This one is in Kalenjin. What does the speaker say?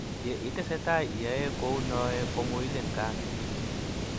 Ye i testai iyoe kou noe ko muilin kaat